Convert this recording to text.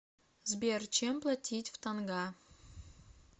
сбер чем платить в тонга